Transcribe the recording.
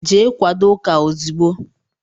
Jee kwadó ụka ozigbo!!!